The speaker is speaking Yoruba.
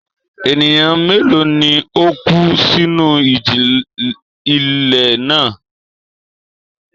Ènìyàn mélòó ni ó kú sínú ìjì-ilẹ̀ náà?